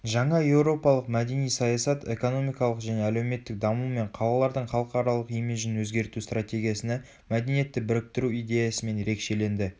жаңа еуропалық мәдени саясат экономикалық және әлеуметтік даму мен қалалардың халықаралық имиджін өзгерту стратегиясына мәдениетті біріктіру идеясымен ерекшеленді